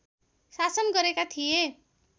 शासन गरेका थिए